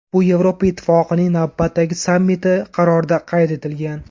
Bu Yevropa Ittifoqining navbatdagi sammiti qarorida qayd etilgan.